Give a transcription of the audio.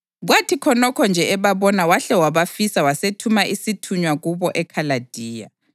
Kwathi khonokho nje ebabona wahle wabafisa wasethuma isithunywa kubo eKhaladiya.